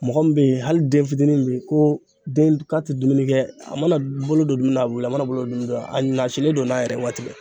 Mɔgɔ min bɛ yen hali den fitinin min bɛ yen ko den k'a tɛ dumuni kɛ, a mana bolo don min na , a bɛ wuli , a mana bolo don a nasilen don n'a yɛrɛ waati bɛɛ.